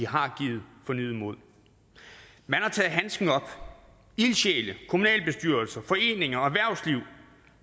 har givet fornyet mod man har taget handsken op ildsjæle kommunalbestyrelser foreninger og erhvervsliv